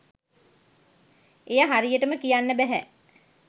එය හරියටම කියන්න බැහැ.